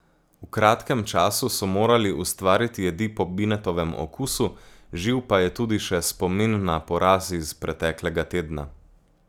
V kratkem času so morali ustvariti jedi po Binetovem okusu, živ pa je tudi še spomin na poraz iz preteklega tedna.